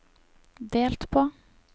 delt på